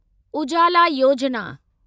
Ujala Yojana